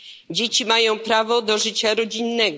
Dzieci mają prawo do życia rodzinnego.